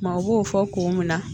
Maaw b'o fɔ ko mina